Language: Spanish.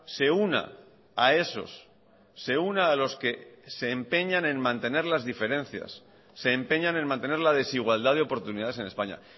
se una a esos se una a los que se empeñan en mantener las diferencias se empeñan en mantener la desigualdad de oportunidades en españa